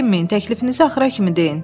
Çəkinməyin, təklifinizi axıra kimi deyin.